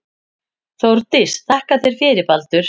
Þórdís: Þakka þér fyrir Baldur.